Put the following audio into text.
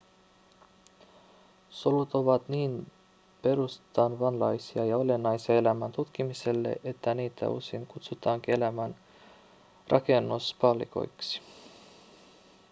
solut ovat niin perustavanlaisia ja olennaisia elämän tutkimiselle että niitä usein kutsutaankin elämän rakennuspalikoiksi